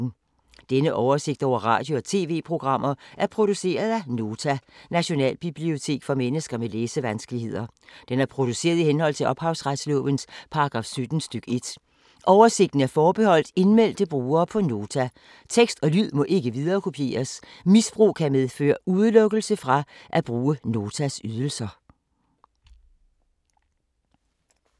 Denne oversigt over radio og TV-programmer er produceret af Nota, Nationalbibliotek for mennesker med læsevanskeligheder. Den er produceret i henhold til ophavsretslovens paragraf 17 stk. 1. Oversigten er forbeholdt indmeldte brugere på Nota. Tekst og lyd må ikke viderekopieres. Misbrug kan medføre udelukkelse fra at bruge Notas ydelser.